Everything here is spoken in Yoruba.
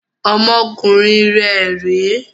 Ọmọkùnrin rẹ rè é!